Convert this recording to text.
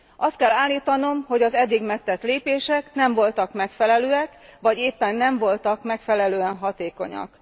Azt kell állítanom, hogy az eddig megtett lépések nem voltak megfelelőek, vagy éppen nem voltak megfelelően hatékonyak.